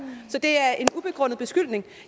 så det er en ubegrundet beskyldning